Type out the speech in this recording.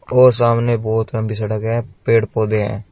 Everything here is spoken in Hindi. अ सामने बहोत लंबी सड़क है पेड़ पौधे हैं।